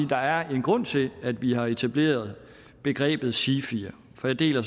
der er en grund til at vi har etableret begrebet sifier for jeg deler